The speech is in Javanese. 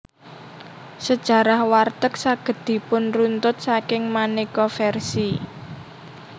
Sejarah warteg saged dipunruntut saking maneka versi